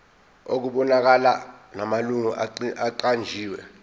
okubonakalayo namalungu aqanjiwe